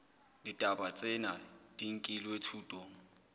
ditaba tsena di nkilwe thutong